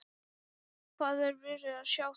Hvað er verið að segja þar?